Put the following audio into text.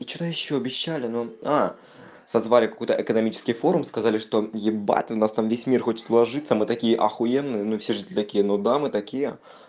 и что то ещё обещали но а созвали какой-то экономический форум сказали что ебать у нас там весь мир хочет сложиться мы такие ахуенные но все же такие ну да мы такие